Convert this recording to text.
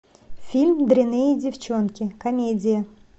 фильм дрянные девчонки комедия